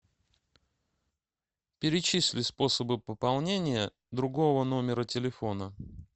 перечисли способы пополнения другого номера телефона